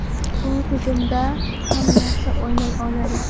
U hujumda ham yaxshi o‘ynay oladi.